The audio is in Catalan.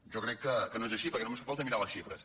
jo crec que no és així perquè només fa falta mirar les xifres